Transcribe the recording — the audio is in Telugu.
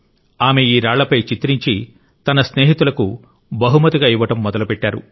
ఆమె ఈ రాళ్లపై చిత్రించి తన స్నేహితులకు బహుమతిగా ఇవ్వడం మొదలుపెట్టారు